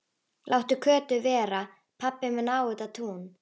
Láttu Kötu vera, pabbi minn á þetta tún!